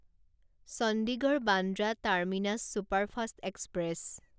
Chandigarh Bandra terminus superfast express